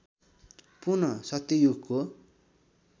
पुनः सत्ययुगको